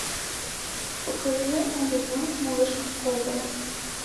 покажи али вонг малышка кобра